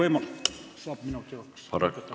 Kas saab minuti juurde?